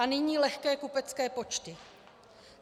A nyní lehké kupecké počty.